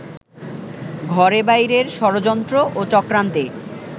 ঘরে-বাইরের ষড়যন্ত্র ও চক্রান্তে